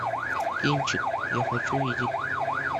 кинчик я хочу видеть